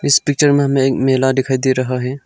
इस पिक्चर में हमे एक मेला दिखाई दे रहा है।